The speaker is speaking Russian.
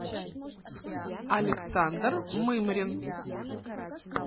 александр мымрин